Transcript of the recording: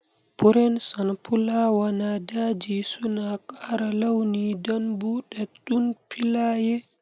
Furen sonfulawa na daji suna ƙara launi don buɗɗaɗɗun filaye.